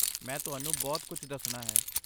ਮੈਂ ਤੁਹਾਨੂੰ ਬਹੁਤ ਕੁਝ ਦੱਸਣਾ ਹੈ।